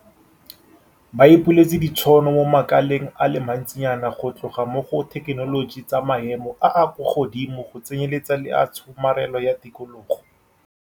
Ba ipuletse ditšhono mo makaleng a le mantsinyana go tloga mo go a dithekenoloji tsa maemo a a kwa godimo go tsenyeletsa le a tshomarelo ya tikologo.